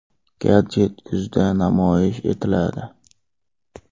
Gadjet kuzda namoyish etiladi.